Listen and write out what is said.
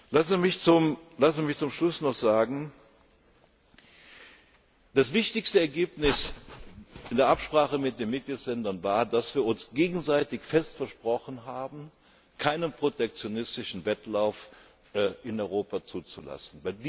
wissen. Lassen Sie mich zum Schluss noch sagen, dass das wichtigste Ergebnis in der Absprache mit den Mitgliedstaaten war, dass wir uns gegenseitig fest versprochen haben, keinen protektionistischen Wettlauf in Europa zuzulassen.